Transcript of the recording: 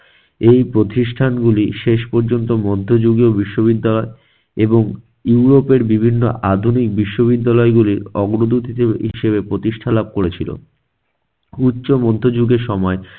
এই প্রতিষ্ঠানগুলি শেষ পর্যন্ত মধ্যযুগীয় বিশ্ববিদ্যালয় এবং ইউরোপের বিভিন্ন আধুনিক বিশ্ববিদ্যালয়গুলো অগ্রদূতে হিসেব~ হিসেবে প্রতিষ্ঠা লাভ করেছিল। উচ্চ মধ্যযুগের সময়